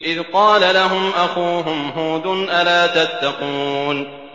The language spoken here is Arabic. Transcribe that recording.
إِذْ قَالَ لَهُمْ أَخُوهُمْ هُودٌ أَلَا تَتَّقُونَ